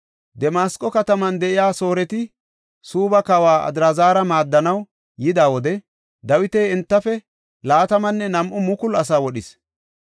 Damasqo kataman de7iya Sooreti Suubba kawa Adraazara maaddanaw yida wode Dawiti entafe 22,000 asaa wodhis.